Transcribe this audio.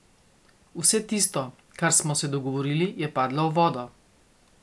Vse tisto, kar smo se dogovorili, je padlo v vodo.